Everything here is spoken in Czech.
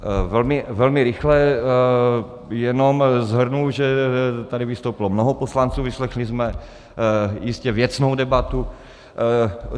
Velmi rychle jenom shrnu, že tady vystoupilo mnoho poslanců, vyslechli jsme jistě věcnou debatu.